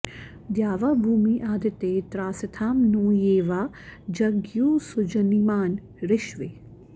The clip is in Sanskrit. द्यावा॑भूमी अदिते॒ त्रासी॑थां नो॒ ये वां॑ ज॒ज्ञुः सु॒जनि॑मान ऋष्वे